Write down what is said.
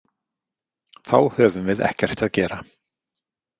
Þá höfum við ekkert að gera.